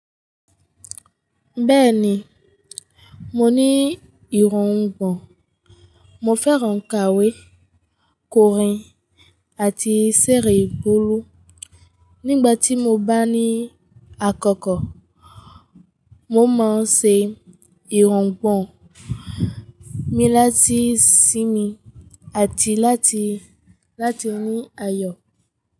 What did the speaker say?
Bẹ́ẹ̀ni, mo ní ìrungbọ̀n. Mo fẹ́ràn kàwé, kòrín àti seré boolù. Nígbà tí mo bá ní àkókò, mo máa ń se ìrògbọ̀n mi láti sinmi àti láti ní ayọ̀.